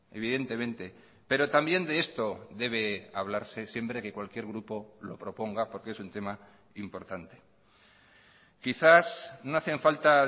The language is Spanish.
evidentemente pero también de esto debe hablarse siempre que cualquier grupo lo proponga porque es un tema importante quizás no hacen falta